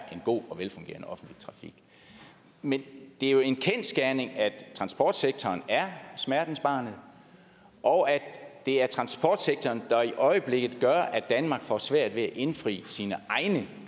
en god og velfungerende offentlig trafik men det er jo en kendsgerning at transportsektoren er smertensbarnet og at det er transportsektoren der i øjeblikket gør at danmark får svært ved at indfri sine egne